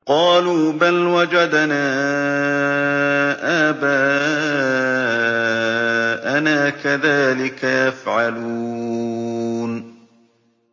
قَالُوا بَلْ وَجَدْنَا آبَاءَنَا كَذَٰلِكَ يَفْعَلُونَ